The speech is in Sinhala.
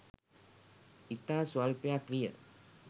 ඉතා ස්වල්පයක් විය.